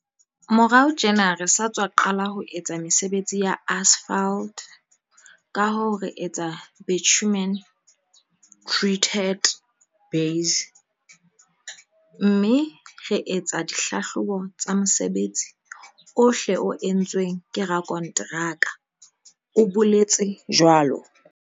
"Morao tjena re sa tswa qala ho etsa mesebetsi ya asphalt kahoo re etsa bitumen treated base, BTB, mme re etsa di hlahlobo tsa mosebetsi ohle o entsweng ke rakonteraka," o boletse jwalo.